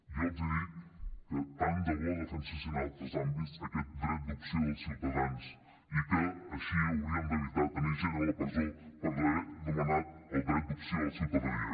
jo els dic que tant de bo defensessin en altres àmbits aquest dret d’opció dels ciutadans i que així haurien d’evitar tenir gent a la presó per haver donat el dret d’opció a la ciutadania